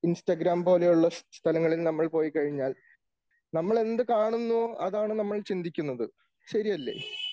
Instagram പോലുള്ള സ്ഥലങ്ങളിൽ നമ്മൾ പോയി കഴിഞ്ഞാൽ നമ്മൾ എന്ത് കാണുന്നു അതാണ് നമ്മൾ ചിന്തിക്കുന്നത്. ശരിയല്ലേ?